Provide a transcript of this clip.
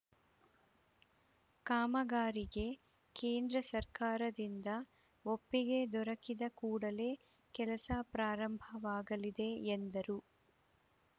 ಕಾಮಗಾರಿಗೆ ಕೇಂದ್ರ ಸರ್ಕಾರದಿಂದ ಒಪ್ಪಿಗೆ ದೊರಕಿದ ಕೂಡಲೇ ಕೆಲಸ ಪ್ರಾರಂಭವಾಗಲಿದೆ ಎಂದರು